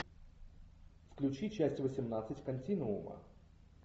включи часть восемнадцать континуума